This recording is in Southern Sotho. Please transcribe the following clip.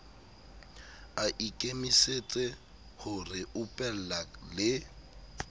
a ikemisetse ho reupella le